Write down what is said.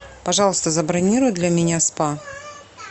пожалуйста забронируй для меня спа